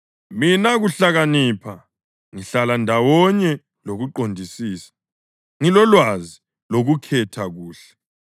Mina, kuhlakanipha, ngihlala ndawonye lokuqondisisa; ngilolwazi lokukhetha kuhle.